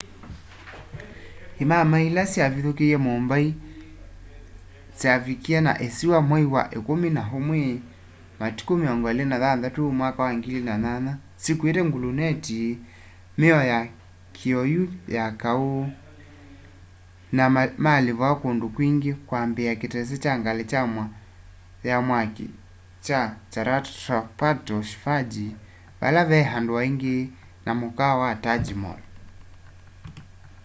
imamai ila syavithukie mumbai kyavikie na isiwa mwai wa ikumi na umwi 26 2008 syikuite gluneti mio ya kioyu ya kau na malipua kundu kwingi kwambiaa kitese kya ngali ya mwaki kya chhatrapato shivaji vale vee andu aingi na mukaawa wa taj mahal